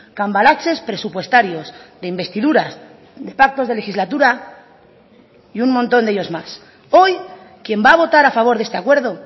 cambalaches presupuestarios de investiduras de pactos de legislatura y un montón de ellos más hoy quien va a votar a favor de este acuerdo